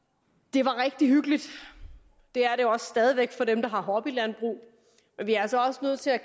var rigtig hyggeligt det er det også stadig væk for dem der har hobbylandbrug men vi er altså også nødt til at